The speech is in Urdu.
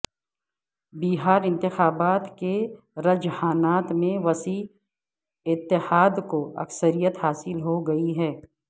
بہار انتخابات کے رجحانات میں وسیع اتحاد کو اکثریت حاصل ہو گئی ہے